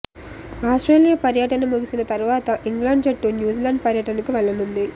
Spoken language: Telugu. ఆస్ట్రేలియా పర్యటన ముగిసిన తర్వాత ఇంగ్లాండ్ జట్టు న్యూజిలాండ్ పర్యటనకు వెళ్లనుంది